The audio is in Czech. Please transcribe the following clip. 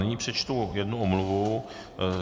Nyní přečtu jednu omluvu.